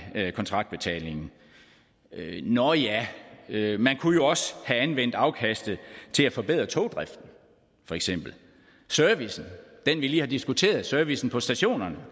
kontraktbetalingen nå ja man kunne jo også have anvendt afkastet til at forbedre togdriften feks servicen den vi lige har diskuteret servicen på stationerne